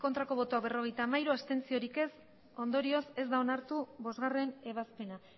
bai berrogeita hamairu ez ondorioz ez da onartu bostgarrena ebazpena